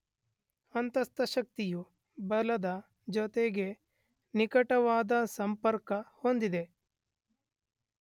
ಅಂತಸ್ಥಶಕ್ತಿಯು ಬಲದ ಜೊತೆಗೆ ನಿಕಟವಾದ ಸಂಪರ್ಕ ಹೊಂದಿದೆ.